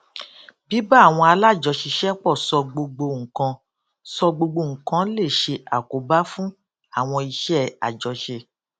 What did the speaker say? bíbá àwọn alájọṣiṣẹpọ sọ gbogbo nǹkan sọ gbogbo nǹkan lè ṣe àkóbá fún àwọn iṣẹ àjọṣe